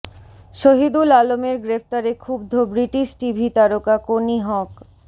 শহিদুল আলমের গ্রেফতারে ক্ষুব্ধ ব্রিটিশ টিভি তারকা কনি হক